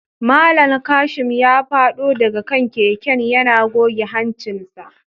Mallam Kashim ya fado daga kan keken yana goge hancinsa